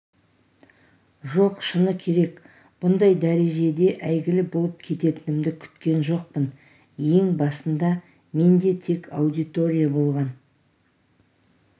жоқ шыны керек бұндай дәрежеде әйгілі болып кететінімді күткен жоқпын ең басында менде тек аудитория болған